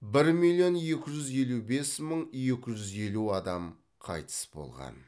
бір миллион екі жүз елу бес мың екі жүз елу адам қайтыс болған